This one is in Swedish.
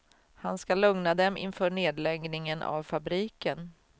Han ska lugna dem inför nedläggningen av fabriken.